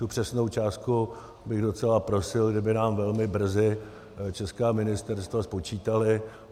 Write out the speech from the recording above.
Tu přesnou částku bych docela prosil, kdyby nám velmi brzy česká ministerstva spočítala.